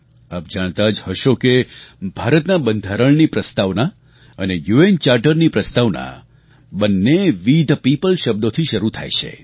આપ જાણતા જ હશો કે ભારતના બંધારણની પ્રસ્તાવના અને યુએન ચાર્ટરની પ્રસ્તાવના બંને વે થે પીઓપલ શબ્દોથી જ શરૂ થાય છે